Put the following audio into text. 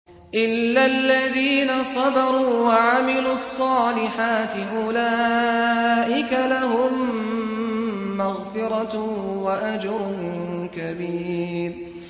إِلَّا الَّذِينَ صَبَرُوا وَعَمِلُوا الصَّالِحَاتِ أُولَٰئِكَ لَهُم مَّغْفِرَةٌ وَأَجْرٌ كَبِيرٌ